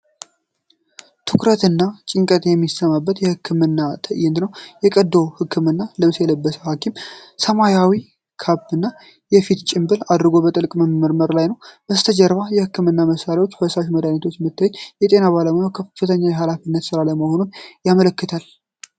ትኩረትና ጭንቀት የሚሰማበት የሕክምና ትዕይንት ነው። የቀዶ ሕክምና ልብስ የለበሰ ሐኪም፣ ሰማያዊ ካፕ እና የፊት ጭንብል አድርጎ በጥልቀት በማከም ላይ ነው። ከበስተጀርባው የህክምና መሳሪያዎችና ፈሳሽ መድሃኒት በመታየቱ፣ የጤና ባለሙያው ከፍተኛ የኃላፊነት ስራ ላይ መሆኑን ያመለክታል።